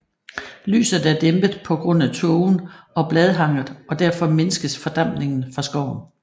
Lyset er dæmpet på grund af tågen og bladhanget og derfor mindskes fordampningen fra skoven